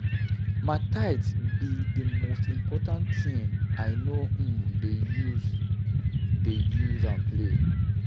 My tithe be the most important thing. I no um dey use dey use am play.